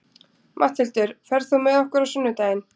Matthildur, ferð þú með okkur á sunnudaginn?